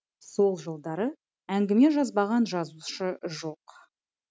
сол жылдары әңгіме жазбаған жазушы жоқ